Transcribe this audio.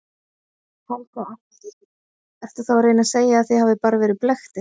Helga Arnardóttir: Ertu þá að reyna að segja að þið hafið bara verið blekktir?